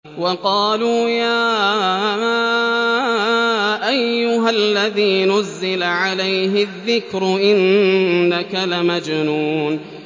وَقَالُوا يَا أَيُّهَا الَّذِي نُزِّلَ عَلَيْهِ الذِّكْرُ إِنَّكَ لَمَجْنُونٌ